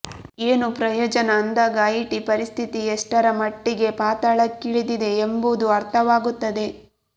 ಏನು ಪ್ರಯೋಜನ ಅಂದಾಗ ಐಟಿ ಪರಿಸ್ಥಿತಿ ಎಷ್ಟರ ಮಟ್ಟಿಗೆ ಪಾತಾಳಕ್ಕಿಳಿದಿದೆ ಎಂಬುದು ಅರ್ಥವಾಗುತ್ತದೆ